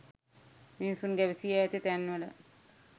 මිනිසුන් ගැවසී ඇති තැන්වල